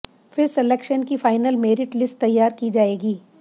फिर सिलेक्शन की final merit list तैयारी की जाएगी